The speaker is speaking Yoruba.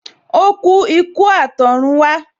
O ku ikú atorunwa